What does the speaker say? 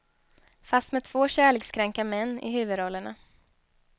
Fast med två kärlekskranka män i huvudrollerna.